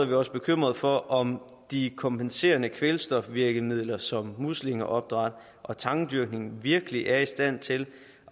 vi også bekymret for om de kompenserende kvælstofvirkemidler som muslingeopdræt og tangdyrkning virkelig er i stand til